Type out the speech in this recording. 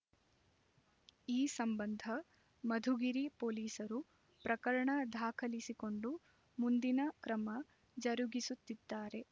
ಈ ಸಂಬಂಧ ಮಧುಗಿರಿ ಪೊಲೀಸರು ಪ್ರಕರಣ ದಾಖಲಿಸಿಕೊಂಡು ಮುಂದಿನ ಕ್ರಮ ಜರುಗಿಸುತ್ತಿದ್ದಾರೆ